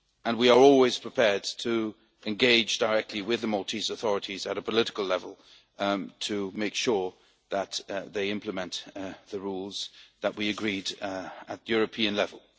We are always prepared to engage directly with the Maltese authorities at a political level to make sure that they implement the rules that we agreed at European level.